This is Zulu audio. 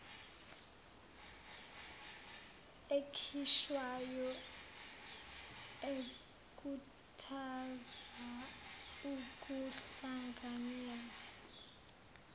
ekhishwayo ekhuthaza ukuhlanganyela